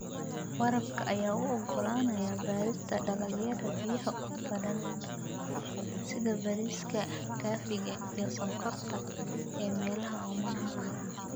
Waraabka ayaa u oggolaanaya beerista dalagyada biyaha u badan sida bariiska, kafeega, iyo sonkorta ee meelaha oomanaha ah.